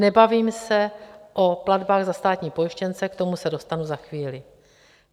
Nebavím se o platbách za státní pojištěnce, k tomu se dostanu za chvíli.